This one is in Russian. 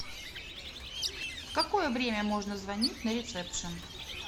в какое время можно звонить на ресепшен